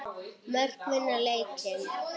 Mörk vinna leiki.